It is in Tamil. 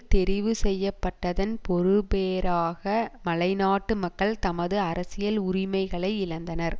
தெரிவு செய்ய பட்டதன் பெறுபேறாக மலைநாட்டு மக்கள் தமது அரசியல் உரிமைகளை இழந்தனர்